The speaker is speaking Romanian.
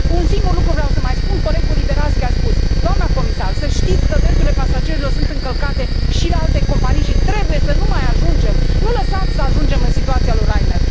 Un singur lucru vreau să mai spun, colegului Liberadzki a spus doamna comisar să știți că drepturile pasagerilor sunt încălcate și la alte companii și trebuie să nu mai ajungem, nu lăsați să mai ajungem în situația lui Ryanair.